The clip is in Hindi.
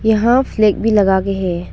यहां फ्लैग भी लगा के है।